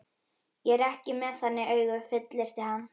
Ég er ekki með þannig augu, fullyrti hann.